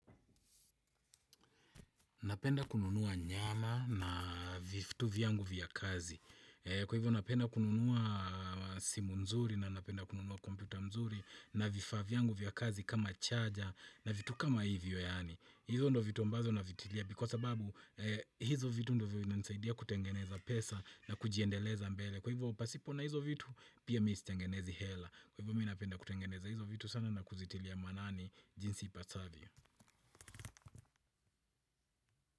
Napenda kununua nyama na vitu viyangu vya kazi. Kwa hivyo napenda kununua simu nzuri na napenda kununua kompyuta nzuri na vifaa viyangu vya kazi kama charger na vitu kama hivyo yani. Hizo ndo vitu ambazo nafikiria kwa sababu hizo vitu ndiyo vinanisaidia kutengeneza pesa na kujiendeleza mbele. Kwa hivyo pasipo na hizo vitu pia misitengenezi hela. Kwa hivo minapenda kutengeneza hizo vitu sana na kuzitilia manani jinsi ipasavyo.